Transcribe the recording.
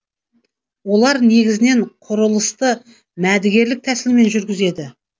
олар негізінен құрылысты мәдігерлік тәсілмен жүргізеді